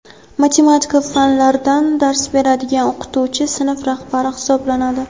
matematika) fanlardan dars beradigan o‘qituvchi sinf rahbari hisoblanadi.